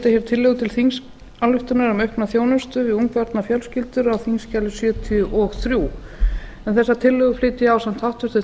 hér tillögu til þingsályktunar um aukna þjónustu við ungbarnafjölskyldur á þingskjali sjötíu og þrjú en þessar tillögu flyt ég ásamt háttvirtum